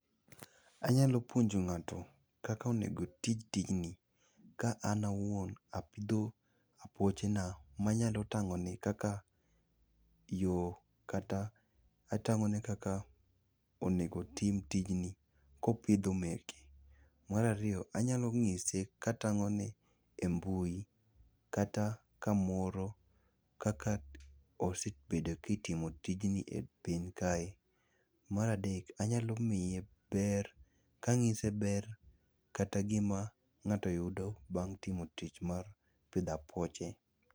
Anyalo puonjo ng'ato kaka onego otim tijni, ka an awuon apidho apuochena manyalo tang'one kaka yo kata atang'one kaka onego otim tijni kopidho meke. Mar ariyo, anyalo ng'ise katang'one e mbui kata kamoro kaka osebedo kitimo tijni e piny kae. Mar adek, anyalo miye ber kang'ise ber kata gima ng'ato yudo bang' timo tich mar pidho apuoche.